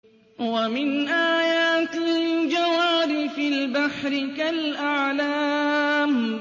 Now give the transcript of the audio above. وَمِنْ آيَاتِهِ الْجَوَارِ فِي الْبَحْرِ كَالْأَعْلَامِ